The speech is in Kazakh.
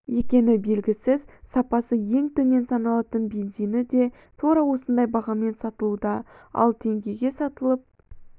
екені белгісіз сапасы ең төмен саналатын бензині де тура осындай бағамен сатылуда ал теңгеге сатылып